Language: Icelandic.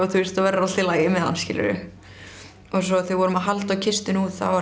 verður allt í lagi með hann og svo þegar við vorum að halda á kistunni út það var